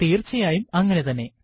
തീർച്ചയായും അങ്ങനെതന്നെ